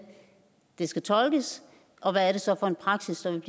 skal tolkes og hvad det så er for en praksis som